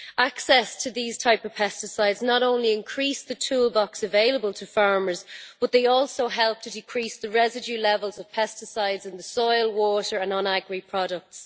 Access to these types of pesticides not only increases the toolbox available to farmers but they also help to decrease the residue levels of pesticides in the soil, water and non agri products.